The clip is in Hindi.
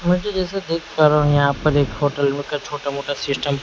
मैं तो जैसे देखा पा रहा हूं यहां पर एक होटल में क छोटा मोटा सिस्टम --